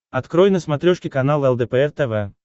открой на смотрешке канал лдпр тв